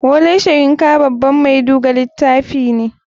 Wole soyin baban mai duga litafi ne.